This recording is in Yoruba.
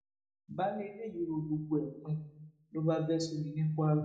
baálé ilé yìí rọ gbogbo ẹ pin ló bá bẹ sómi ní kwara